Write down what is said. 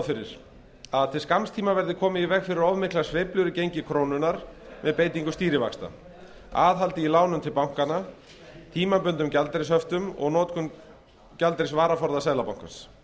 fyrir að til skamms tíma verði komið í veg fyrir of miklar sveiflur í gengi krónunnar með beitingu stýrivaxta aðhaldi í lánum til bankanna tímabundnum gjaldeyrishöftum og notkun gjaldeyrisvaraforða seðlabankans